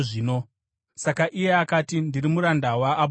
Saka iye akati, “Ndiri muranda waAbhurahama.